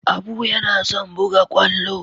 Abu yana son buga kwallo.